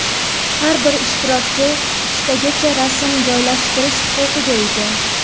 Har bir ishtirokchi uchtagacha rasm joylashtirish huquqiga ega.